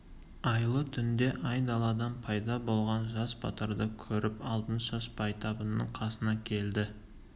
айлы түнде айдаладан пайда болған жас батырды көріп алтыншаш байтабынның қасына келді